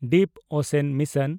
deep ocean mission